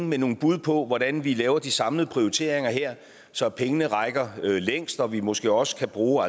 med nogle bud på hvordan vi laver de samlede prioriteringer her så pengene rækker længst og vi måske også kan bruge